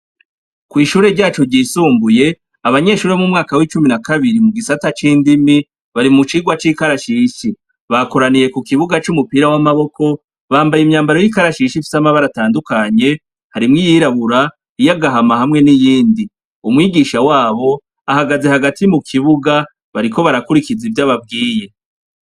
Kw'ishure ryacu ryisumbuye, abanyeshure bo m'umwaka w'icumi na kabiri mu gisata c'indimi bari mu cigwa c'ikarashishi, bakoraniye ku kibuga c'umupira w'amaboko, bambaye imyambaro y'ikarashishi ifise amabara atandukanye harimwo iyirabura, iy'agahama, hamwe n'iyindi, umwigisha wabo ahagaze hagati mu kibuga bariko barakurikiza ivyo ababwiye.